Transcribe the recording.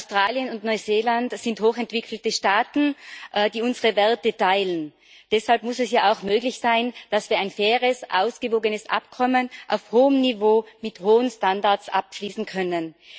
Australien und Neuseeland sind hochentwickelte Staaten, die unsere Werte teilen. Deshalb muss es ja auch möglich sein, dass wir ein faires, ausgewogenes Abkommen auf hohem Niveau mit hohen Standards abschließen können.